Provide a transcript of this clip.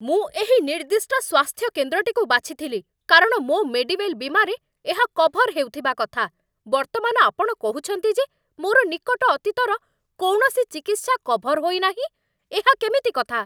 ମୁଁ ଏହି ନିର୍ଦ୍ଦିଷ୍ଟ ସ୍ୱାସ୍ଥ୍ୟ କେନ୍ଦ୍ରଟିକୁ ବାଛିଥିଲି, କାରଣ ମୋ 'ମେଡିୱେଲ୍' ବୀମାରେ ଏହା କଭର୍ ହେଉଥିବା କଥା। ବର୍ତ୍ତମାନ ଆପଣ କହୁଛନ୍ତି ଯେ ମୋର ନିକଟ ଅତୀତର କୌଣସି ଚିକିତ୍ସା କଭର୍ ହୋଇନାହିଁ ? ଏହା କେମିତି କଥା!